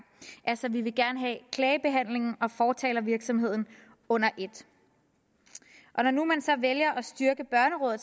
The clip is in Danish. altså vi vil gerne have klagebehandlingen og fortalervirksomheden under et og når nu man så vælger at styrke børnerådet